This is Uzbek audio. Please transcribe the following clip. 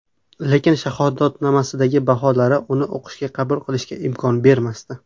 Lekin shahodatnomasidagi baholari uni o‘qishga qabul qilishga imkon bermasdi.